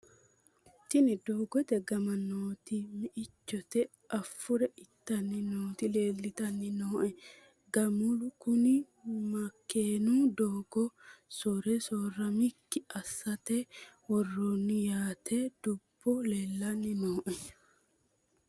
tini doogote gama nooti meichote afure ittanni nooti leeltanni nooe gamalu kuni makeenu doogo sore soorramannokki assate worroonniho yaate dubuno leelanni nooe